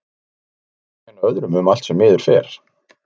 Það er svo auðvelt að kenna öðrum um allt sem miður fer.